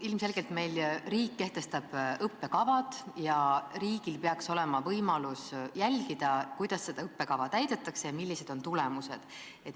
Ilmselgelt kehtestab meil õppekava riik ja riigil peaks olema võimalus jälgida, kuidas seda õppekava täidetakse ja millised on tulemused.